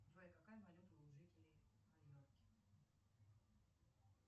джой какая валюта у жителей майорки